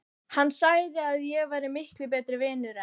Hann sagði að ég væri miklu betri vinur en